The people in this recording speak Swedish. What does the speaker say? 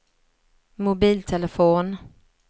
mobiltelefon